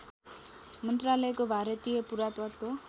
मन्त्रालयको भारतीय पुरातत्त्व